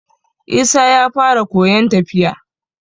Isa ya fara koyon tafiya